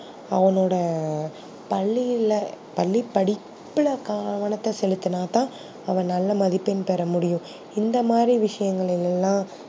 அவனோட பள்ளியில பள்ளி படிப்புல கவனத்த செலுத்துனாதா அவன் நல்ல பதிப்பெண் பெற முடியும் இந்த மாதிரி விஷயங்கள் எல்லாம்